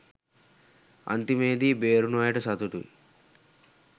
අන්තිමේදී බේරුනු අයට සතුටුයි